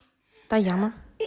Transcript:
тояма